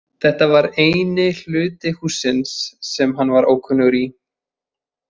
Þetta var eini hluti hússins sem hann var ókunnugur í.